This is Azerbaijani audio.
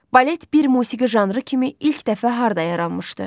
Balet bir musiqi janrı kimi ilk dəfə harda yaranmışdı?